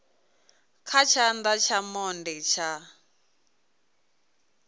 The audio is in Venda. kha tshana tsha monde tsha